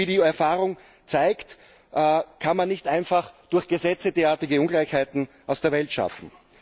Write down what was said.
Und wie die Erfahrung zeigt, kann man nicht einfach durch Gesetze derartige Ungleichheiten aus der Welt schaffen.